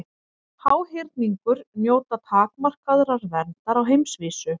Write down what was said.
Háhyrningur njóta takmarkaðrar verndar á heimsvísu.